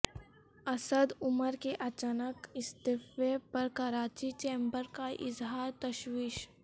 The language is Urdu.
اسد عمر کے اچانک استعفے پر کراچی چیمبر کا اظہار تشویش